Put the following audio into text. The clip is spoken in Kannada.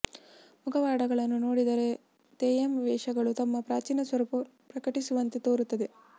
ಮುಖವಾಡಗಳನ್ನು ನೋಡಿದರೆ ತೆಯ್ಯಂ ವೇಷಗಳು ತಮ್ಮ ಪ್ರಾಚೀನ ಸ್ವರೂಪವನ್ನು ಪ್ರಕಟಿಸುವಂತೆ ತೋರುತ್ತವೆ